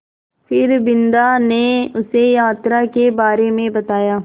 फिर बिन्दा ने उसे यात्रा के बारे में बताया